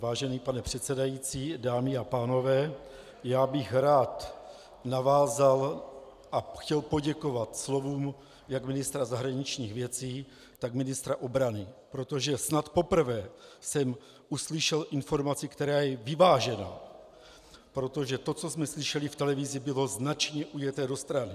Vážený pane předsedající, dámy a pánové, já bych rád navázal a chtěl poděkovat slovům jak ministra zahraničních věcí, tak ministra obrany, protože snad poprvé jsem uslyšel informaci, která je vyvážená, protože to, co jsme slyšeli v televizi, bylo značně ujeté do strany.